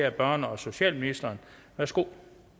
er børne og socialministeren værsgo